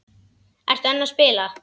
Ertu enn að spila?